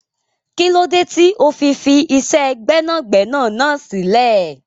Kílódé tó fi fi iṣẹ́ gbẹ́nàgbẹ́nà náà sílẹ̀?